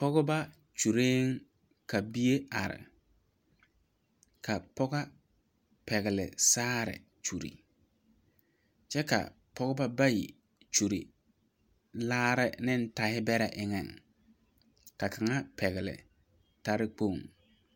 Pɔgba kyulee ka bie arẽ ka pɔga pɛgli saare kyuli kye ka pɔgba bayi kyuli laara ne taɛbere engan ka kanga pɛgle tare kpong.